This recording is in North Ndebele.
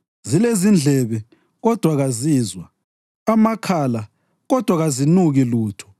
zilezindlebe, kodwa kazizwa, amakhala, kodwa kazinuki lutho;